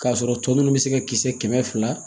K'a sɔrɔ tɔ ninnu bɛ se ka kisɛ kɛmɛ fila